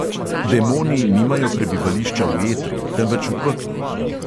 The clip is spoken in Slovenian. Demoni nimajo prebivališča v etru, temveč v peklu.